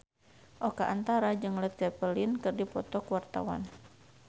Oka Antara jeung Led Zeppelin keur dipoto ku wartawan